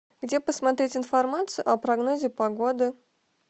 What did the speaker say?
где посмотреть информацию о прогнозе погоды